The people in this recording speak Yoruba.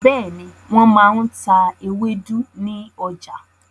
Bẹ́ẹ̀ni, wọ́n máa n ta ewédú ní ọjà